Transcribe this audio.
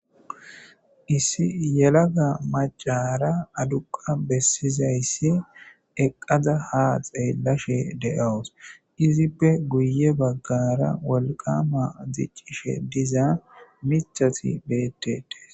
issi yelaga macara aduqa bessizayssi eqqaza ha xeellashe de7awus izippe guye baggara wolqama ziccishe diza michati beetetes